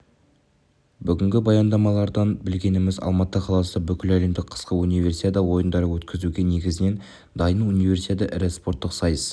бүгінгі баяндамалардан білгеніміз алматы қаласы бүкіләлемдік қысқы универсиада ойындарын өткізуге негізінен дайын универсиада ірі спорттық сайыс